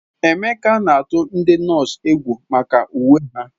Emeka na-atụ ndị nọọsụ egwu maka uwe ha.